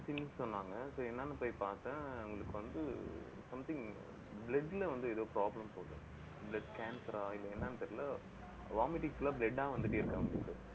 சொன்னாங்க. so என்னான்னு போய் பார்த்தேன். அவங்களுக்கு வந்து, something blood ல வந்து ஏதோ problem போல இருக்கு blood cancer ஆ இல்லை, என்னன்னு தெரியலே vomiting full ஆ, blood ஆ வந்துட்டே இருக்கு அவங்களுக்கு